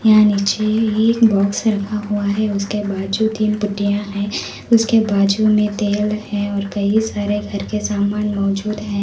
यहां नीचे एक बॉक्स रखा हुआ है उसके बाजू में तीन पट्टियां हैं उसके बाजू में तेल है और कई सारे घर के सामान मौजूद है।